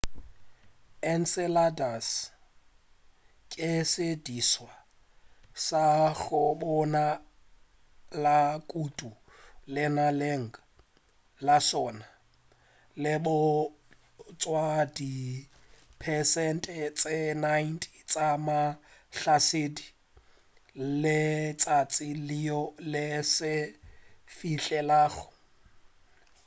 enceladus ke sedirišwa sa go bonala kudu lenaneong la sola le bontšha dipersente tše 90 tša mahlasedi a letšatši leo le se e fihlelago